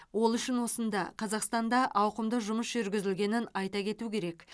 ол үшін осында қазақстанда ауқымды жұмыс жүргізілгенін айта кету керек